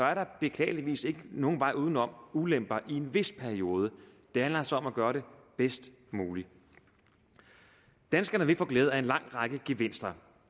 er der beklageligvis ikke nogen vej uden om ulemper i en vis periode det handler så om at gøre det bedst muligt danskerne vil få glæde af en lang række gevinster